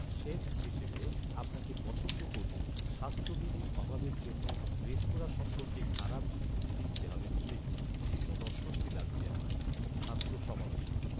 Chef হিসেবে আপনাকে পছন্দ করলেও স্বাস্থ্যবিধির অভাবের জন্য রেস্তোরাঁ সম্পর্কে খারাপ রিভিউ লিখতে হবে ভেবেই ভীষণ অস্বস্তি লাগছে আমার। খাদ্য সমালোচক